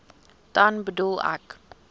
dan bedoel ek